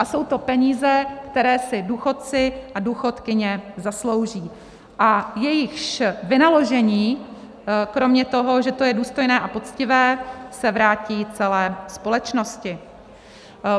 A jsou to peníze, které si důchodci a důchodkyně zaslouží a jejichž vynaložení kromě toho, že to je důstojné a poctivé, se vrátí celé společnosti.